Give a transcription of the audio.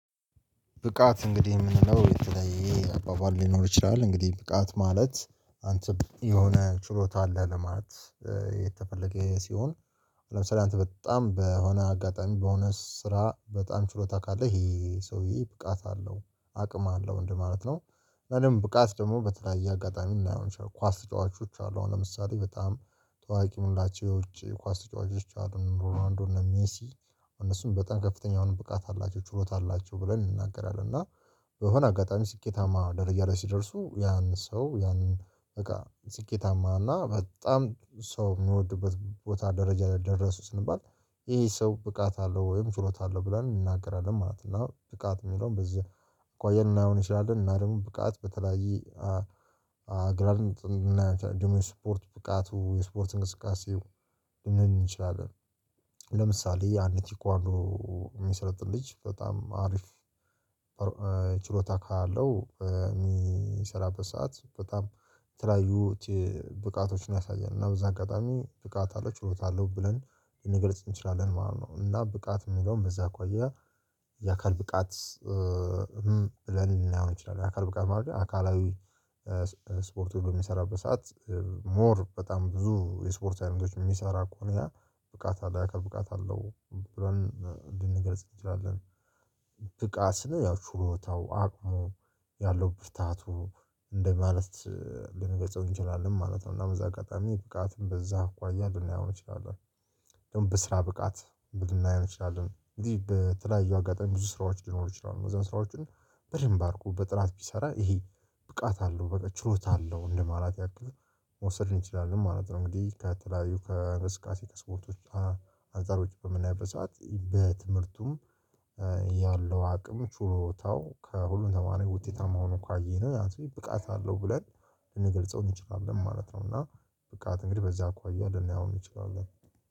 ብቃት እንግዲህ የምንለው የተለየ አባባል ሊኖር ይችላል እንግዲህ ብቃት ማለት አንተ የሆነ ችሎታ አለህ ለማለት የተፈለገ ሲሆን ለምሳሌ አንተ በጣም በሆነ አጋጣሚ በሆነ ስራ በጣም ችሎታ ካለ ይሄ ሰውዬ ብቃት አለው አቅም አለው እንደማለት ነው። እኔም ብቃት ደግሞ በተለያየ አጋጣሚ ልናየው ኳስ ተጫዋቾች አሉ አሁን ለምሳሌ በጣም ተዋቂ የምንላቸው የውጪ ኳስ ተጫዋቾች አሉ ሮናንዶ እነ ሜሲ። እነሱን በጣም ከፍተኛ አሁን ብቃት አላቸው ችሎታ አላቸው ብለን እንናገራለን እና በሆነ አጋጣሚ ስኬታማ ደረጃ ላይ ሲደርሱ ያን ሰው ያን በቃ ስኬታማ እና በጣም ሰው የሚወድበት ቦታ ደረጃ ላይ ደረሱ ስንባል ይሄ ሰው ብቃት አለው ወይም ችሎታ አለው ብለን እንናገራለን ማለት ነው። እና ብቃት የሚለውን በዚህ ቆየን ልናየው እንችላለን እና ደግሞ ብቃት በተለያየ ግራንጥ እና ዱሚ ስፖርት ብቃቱ የስፖርት እንቅስቃሴው ልንል እንችላለን። ለምሳሌ ያአንድ ቴኳንዶ። የሚሰለጥን ልጅ በጣም አሪፍ ችሎታ ካለው የሚሰራበት ሰዓት በጣም የተለያዩ ብቃቶችን ያሳያልና በዛ አጋጣሚ ብቃት አለው ችሎታ አለው ብለን ልንገርጽ እንችላለን ማለት ነው። እና ብቃት የሚለውን በዛ አኳያ የአካል ብቃት። ብለን ልናየው ይእንችላለን የአካል ብቃት ማድረግ አካላዊ ስፖርት በሚሰራበት ሰዓት ሞር በጣም ብዙ የስፖርት አይነቶች የሚሰራ ከሆነ ብቃት አለ አካባቢ ብቃት አለው ብለን እንድንገልጽ እንችላለን። ብቃት ስንል ያው ችሎታው አቅሙ ያለው ብርታቱ እንደማለት ልንገልጸው እንችላለን ማለት ነው። እና በዛ አጋጣሚ ብቃትን በዛ አኳያ ልናየው እንችላለን። ደግሞ በስራ ብቃት ልናየው እንችላለን እንዴ በተለያዩ አጋጣሚ ብዙ ስራዎች ሊኖሩ ይችላሉ መዘን ስራዎቹን በደንብ አርኩ በጥራት ቢሰራ ይሄ ብቃት አለው በቃ ችሎታ አለው እንደማለት ያክል መውሰድ እንችላለን ማለት ነው። እንግዲህ ከተለያዩ ከእንቅስቃሴ ስፖርቶች። አንፃሮች በምናይበት ሳት በትምህርቱም ያለው አቅም ችሎታው ከሁሉም ተማሪ ውጤታማ ሆኖ እኮ ካየነው ያ ሰው ብቃት አለው ብለን ልንገልጸው እንችላለን ማለት ነው። እና ብቃት እንግዲህ በዛ አኳያ ልናየውም እንችላለን